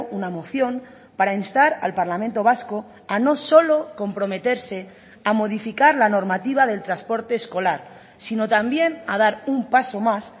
una moción para instar al parlamento vasco a no solo comprometerse a modificar la normativa del transporte escolar sino también a dar un paso más